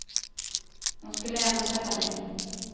Och hon skulle ändå tacka nej.